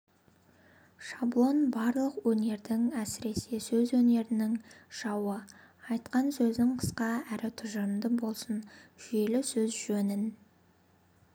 шаблон барлық өнердің әсіресе сөз өнерінің жауы айтқан сөзің қысқа әрі тұжырымды болсын жүйелі сөз жөнін